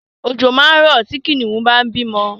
Ọ̀jọ̀ máa rọ̀ tí Kìnìún bá ń bímọ